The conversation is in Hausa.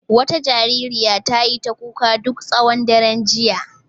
Wata jaririya ta yi ta kuka duk tsawon daren jiya.